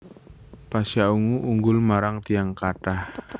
Pasha Ungu unggul marang tiyang kathah